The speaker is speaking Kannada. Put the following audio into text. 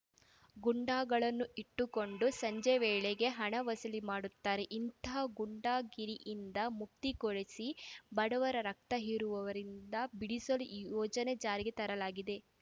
ಗೂಂಡಾಗಳನ್ನು ಇಟ್ಟುಕೊಂಡು ಸಂಜೆ ವೇಳೆಗೆ ಹಣ ವಸೂಲಿ ಮಾಡುತ್ತಾರೆ ಇಂತಹ ಗೂಂಡಾಗಿರಿಯಿಂದ ಮುಕ್ತಿ ಕೊಡಿಸಿ ಬಡವರ ರಕ್ತ ಹೀರುವವರಿಂದ ಬಿಡಿಸಲು ಈ ಯೋಜನೆ ಜಾರಿಗೆ ತರಲಾಗಿದೆ